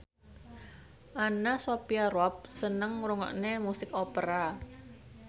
Anna Sophia Robb seneng ngrungokne musik opera